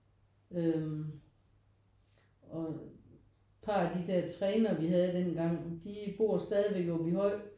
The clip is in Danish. Øh og par af de der trænere vi havde dengang de bor stadigvæk i Aabyhøj